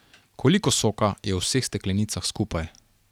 Koliko soka je v vseh steklenicah skupaj?